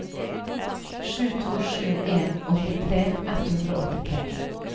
sju to sju en åttitre ett hundre og åttitre